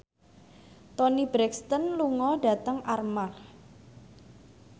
Toni Brexton lunga dhateng Armargh